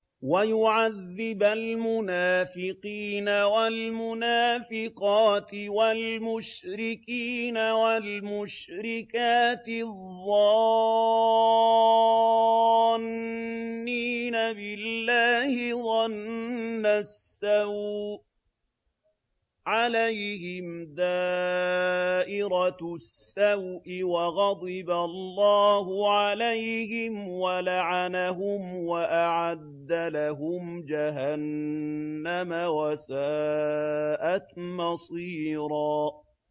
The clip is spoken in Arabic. وَيُعَذِّبَ الْمُنَافِقِينَ وَالْمُنَافِقَاتِ وَالْمُشْرِكِينَ وَالْمُشْرِكَاتِ الظَّانِّينَ بِاللَّهِ ظَنَّ السَّوْءِ ۚ عَلَيْهِمْ دَائِرَةُ السَّوْءِ ۖ وَغَضِبَ اللَّهُ عَلَيْهِمْ وَلَعَنَهُمْ وَأَعَدَّ لَهُمْ جَهَنَّمَ ۖ وَسَاءَتْ مَصِيرًا